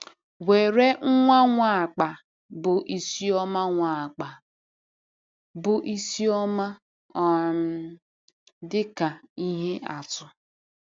Were nwa Nwapa bụ Isioma Nwapa bụ Isioma um dị ka ihe atụ.